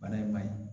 Bana in ma ɲi